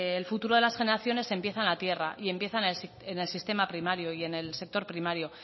el futuro de las generaciones empieza en la tierra y empieza en el sistema primario y en el sector primario